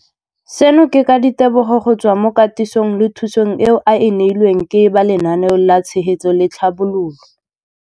Seno ke ka ditebogo go tswa mo katisong le thu song eo a e neilweng ke ba Lenaane la Tshegetso le Tlhabololo ya.